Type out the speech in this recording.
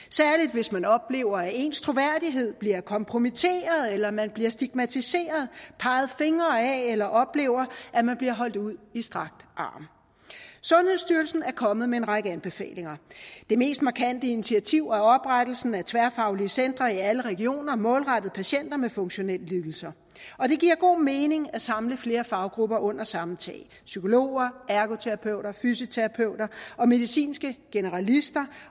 hvis man oplever at ens troværdighed bliver kompromitteret eller man bliver stigmatiseret peget fingre ad eller oplever at man bliver holdt ud i strakt arm sundhedsstyrelsen er kommet med en række anbefalinger det mest markante initiativ er oprettelsen af tværfaglige centre i alle regioner målrettet patienter med funktionelle lidelser og det giver god mening at samle flere faggrupper under samme tag psykologer ergoterapeuter fysioterapeuter og medicinske generalister